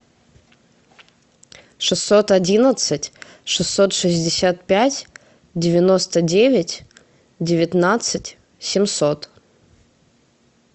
шестьсот одиннадцать шестьсот шестьдесят пять девяносто девять девятнадцать семьсот